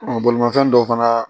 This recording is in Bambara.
bolimafɛn dɔ fana